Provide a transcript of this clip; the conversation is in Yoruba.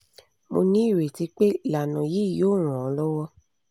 mo ní ireti pé ìlànà yìí yóò ran ọ́ lọ́wọ́